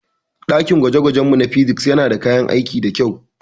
dakin gwaje-gwajenmu na Physics yana da kayan aiki da kyau.